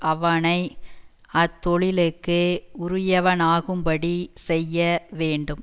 அவனை அத் தொழிலுக்கு உரியவனாகும்படிச்செய்ய வேண்டும்